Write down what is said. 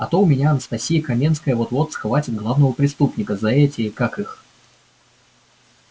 а то у меня анастасия каменская вот-вот схватит главного преступника за эти как их